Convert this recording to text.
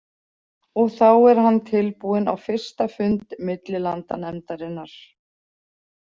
Og þá er hann tilbúinn á fyrsta fund millilandanefndarinnar.